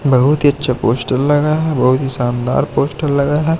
बहोत ही अच्छा पोस्टर लगा है बहुत ही शानदार पोस्टर लगा हैं।